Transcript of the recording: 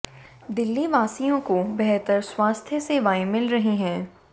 दिल्ली वासियों को बेहतर स्वास्थ्य सेवाएं मिल रही हैं